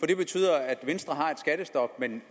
det betyder at venstre har et skattestop men